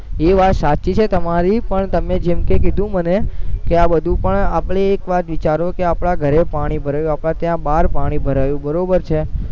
ઈ વાત સાચી છે તમારી પણ તમને જેમકે કીધું મને કે આ બધું પણ આપણે એક વાત વિચારો કે આપણા ઘરે પાણી ભરાયું આપણા ત્યાં બાર પાણી ભરાયું બરોબર છે